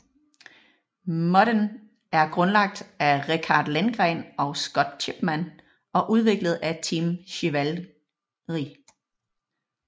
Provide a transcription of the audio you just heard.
Modden er grundlagt af Rikard Lindgren og Scott Chipman og udviklet af Team Chivalry